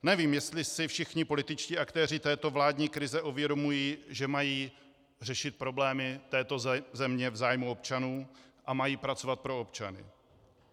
Nevím, jestli si všichni političtí aktéři této vládní krize uvědomují, že mají řešit problémy této země v zájmu občanů a mají pracovat pro občany.